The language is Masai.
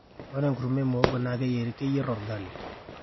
ore enkurma e muhogo naa keyierieki olgali